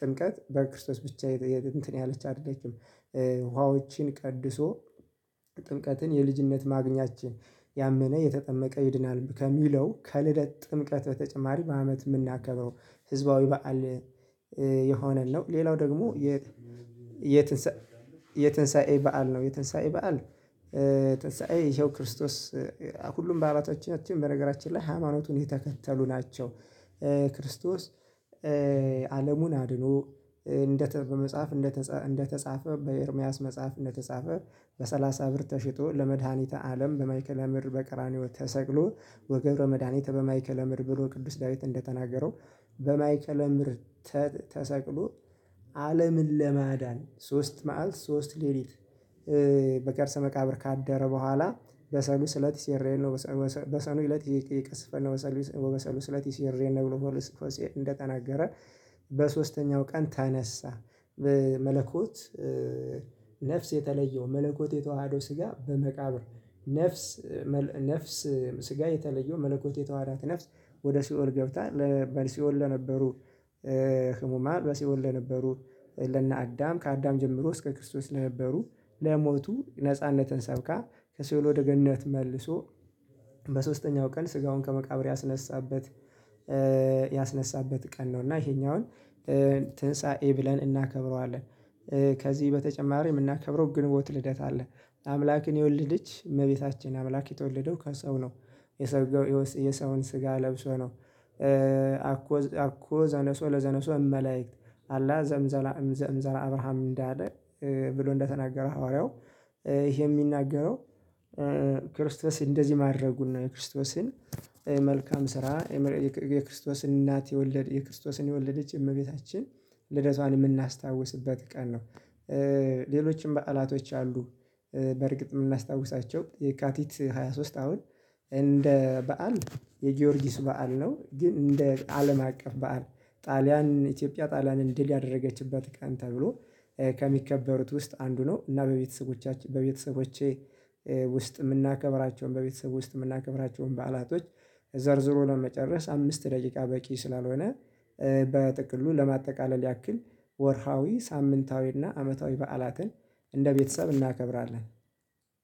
ጥምቀት በክርስቶስ ብቻ የጥንት ነው ያለች አይደለችም። ውሃዎችን ቀድሶ ጥምቀትን የልጅነት ማግኛችን ያመነ የተጠመቀ ይድናል ከሚለው ከልደት ጥምቀት በተጨማሪ በአመት የምናከብረው ህዝባዊ በዓል የሆነን ነው ሌላው ደግሞ የ የትንሳኤ የትንሳኤ በዓል ነው የትንሳኤ በዓል የትንሳኤ ይኸው ክርስቶስ ሁሉም በአባላቶቻችን በነገራችን ላይ ሃይማኖቱን የተከተሉ ናቸው። ክርስቶስ አለሙን አድኖ እንደተ በመጽሐፍ እንደተ እንደተጻፈ በኤርምያስ መጽሐፍ እንደተጻፈ በሰላሳ ብር ተሽጦ ለመድኃኒተ አለም በማይክል አምር በቅራንዮ ተሰቅሎ ወገብረ መድኃኒተ በማይክል አምር ብሎ ቅዱስ ዳዊት እንደተናገረው በማይከለምር ተሰቅሎ አለምን ለማዳን ሶስት መዓል ሶስት ሌሊት በቀርሰ መቃብር ካደረ ቦኋላ በሰኑ ስለት ሴሬን ነው በሳሉ ስለት ይቅስፈል ነው። በሳሉ ስለት ሴሪኤል ነው ብሎ ሆልስፈሴ እንደተናገረ በሶስተኛው ቀን ተነሳ መለኮት ነፍስ የተለየው መለኮት የተዋሃደው ስጋ በመቃብር ነፍስ ነፍስ ስጋ የተለየው መለኮት የተዋሃዳት ነፍስ ወደ ሲኦል ገብተን በሲኦል ለነበሩ ህሙማል በሲኦል ለነበሩ ለነ አዳም ከአዳም ጀምሮ እስከ ክርስቶስ ለነበሩ ለሞቱ ነጻነትን ሰብካ ከሲኦል ወደ ገነት መልሶ በሶስተኛው ቀን ስጋውን ከመቃብር ያስነሳበት ያስነሳበት ቀን ነው እና ይሄኛውን ትንሳኤ ብለን እናከብረዋለን። ከዚህ በተጨማሪ የምናከብረው ግንቦት ልደት አለ አምላክን የወለደች እመቤታችን አምላክ የተወለደው ከሰው ነው። የሰውን ስጋ ለብሶ ነው አኮ አኮ ዘነሶ ለዘነሶ እመላእክት አላህ ዘምዘራ አብርሃም እንዳለ ብሎ እንደተናገረ ሐዋርያው ይሄ የሚናገረው ክርስቶስ እንደዚህ ማድረጉን ነው የክርስቶስን መልካም ስራ የክርስቶስን እናት የወለደ የክርስቶስን የወለደች እመቤታችን ልደቷን የምናስታውስበት ቀን ነው። ሌሎችም በዓላቶች አሉ በእርግጥ የምናስታውሳቸው የካቲት ሃያ ሶስት አሁን እንደ በዓል የጊዮርጊስ በዓል ነው ግን እንደ አለም አቀፍ በዓል ጣልያን ኢትዮጵያ ጣልያንን ድል ያደረገችበት ቀን ተብሎ ከሚከበሩት ውስጥ አንዱ ነው እና በቤተሰቦቻችን በቤተሰቦቼ ውስጥ የምናከብራቸውን በቤተሰብ ውስጥ የምናከብራቸውን በዓላቶች ዘርዝሮ ለመጨረስ አምስት ደቂቃ በቂ ስላልሆነ በጥቅሉ ለማጠቃለል ያክል ወርሃዊ ሳምንታዊና አመታዊ በዓላትን እንደ ቤተሰብ እናከብራለን።